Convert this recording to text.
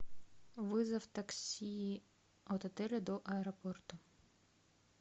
вызов такси от отеля до аэропорта